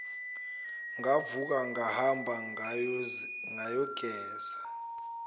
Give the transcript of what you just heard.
ngavuka ngahamba ngayogeza